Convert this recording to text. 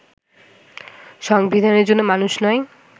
সংবিধানের জন্য মানুষ নয়